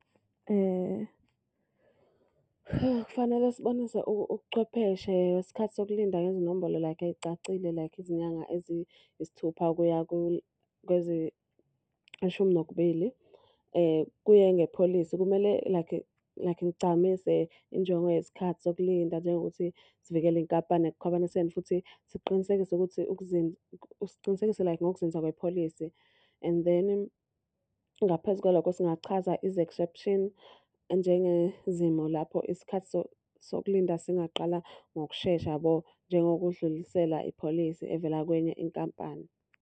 Fanele sibonise ubuchwepheshe ngesikhathi sokulinda ngezinombolo like ey'cacile like izinyanga eziyisithupha kuya kweziyishumi nokubili. Kuye ngepholisi, kumele like like ligcamise injongo yesikhathi sokulinda njengokuthi sivikele iy'nkampani ekukhwabaniseni futhi siqiniseke ukuthi sicinisekise like ngokuzinza wepholisi. And then ngaphezu kwalokho singachaza izi-exception njengezimo lapho isikhathi sokulinda singaqala ngokushesha yabo, njengokudlulisela ipholisi evela kwenye inkampani.